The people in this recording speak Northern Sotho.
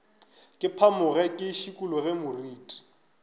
ke phamoge ke šikologe moriti